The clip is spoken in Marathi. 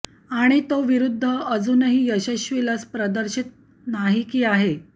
आणि तो विरुद्ध अजूनही यशस्वी लस प्रदर्शित नाही की आहे